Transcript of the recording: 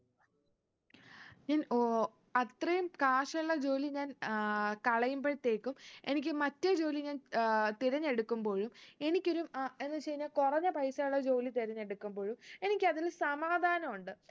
ഞാൻ ഓ അത്രയും കാശുള്ള ജോലി ഞാൻ ആഹ് കളയുമ്പൾത്തേക്കും എനിക്ക് മറ്റേ ജോലി ഞാൻ തിരഞ്ഞെടുക്കുമ്പോഴും എനിക്കൊരു അഹ് എന്ന് വെച്ച് കഴിഞ്ഞ കൊറഞ്ഞ പൈസ ഉള്ള ജോലി തിരഞ്ഞെടുക്കുമ്പോഴും എനിക്ക് അതില് സമാധാനുണ്ട്